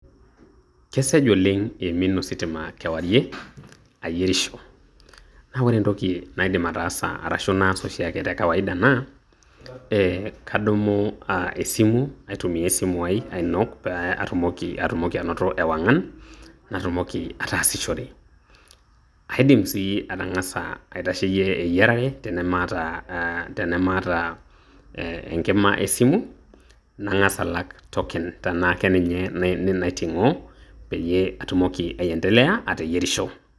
Kesaj oleng' iimin ositima kewarie ayierisho. Na ore entoki naidim ataasa arashu naas oshiake te kawaida naa, eh kadumu esimu aitumia esimu ai ainok pe atumoki atumoki anoto ewang'an, natumoki ataasishore. Aidim sii atang'asa aitasheyie eyiarare tenemata ah tenemaata enkima esimu, nang'asa alak token tenaa keninye naiting'o peyie atumoki aiendelea ateyierisho.